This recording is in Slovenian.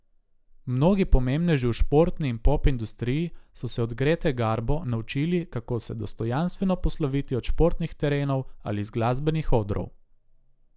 Mnogi pomembneži v športni in pop industriji so se od Grete Garbo naučili, kako se dostojanstveno posloviti od športnih terenov ali z glasbenih odrov.